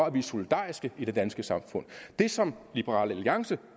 at vi er solidariske i det danske samfund det som liberal alliance